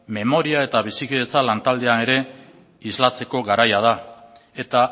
memoria eta bizikidetza lantaldea ere islatzeko garaia da eta